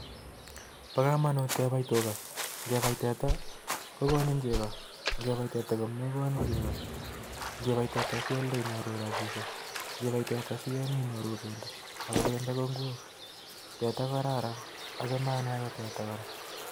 Paa. kamanut Kenai Tuga ,ngepai teta. kenyoru chego anan ko pendo teta KO kararan acha Anee teta amun tinye tugun chepo kamanut